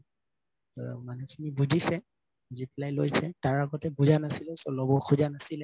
ত মানুহ খিনি বুজিছে reply লৈছে তাৰ আগতে বুজা নাছিলে so লব সুজা নাছিলে